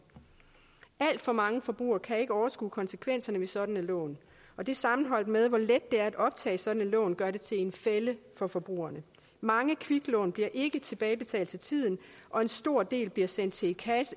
alt for mange forbrugere kan ikke overskue konsekvenserne ved sådanne lån og det sammenholdt med hvor let det er at optage sådan et lån gør det til en fælle for forbrugerne mange kviklån bliver ikke tilbagebetalt til tiden og en stor del bliver sendt til